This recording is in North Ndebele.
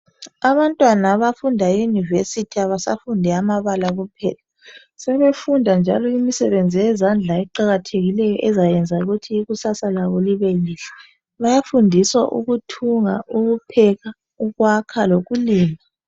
Abantwana abafunda e yunivesithi abasa fundi ama bala kuphela. Sebefunda imisebenzi yezandla eqakathekileyo ezayenza ukuthi ikusasa labo libe lihle. Bayafundiswa ukuthunga, ukupheka, ukwakha lokulima